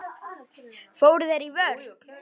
Fóru þeir í vörn?